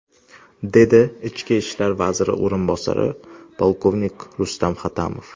dedi Ichki ishlar vaziri o‘rinbosari, polkovnik Rustam Hatamov.